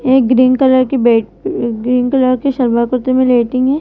ये green colour की bed green colour के शलवार कुर्ते में लेटी हैं।